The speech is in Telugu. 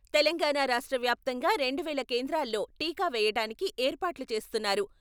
తెలంగాణ రాష్ట్ర వ్యాప్తంగా రెండు వేల కేంద్రాల్లో టీకా వేయటానికి ఏర్పాట్లు చేస్తున్నారు.